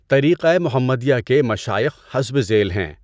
طریقۂ محمدیہ کے مشائخ حسب ذیل ہیں